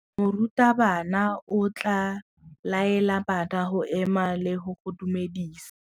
Morutabana o tla laela bana go ema le go go dumedisa.